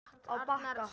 Á Bakka